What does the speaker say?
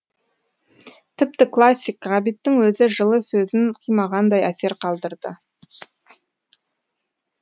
тіпті классик ғабиттің өзі жылы сөзін қимағандай әсер қалдырды